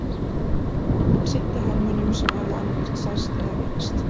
Hún sinnti hermönnum sem höfðu annaðhvort særst eða veikst.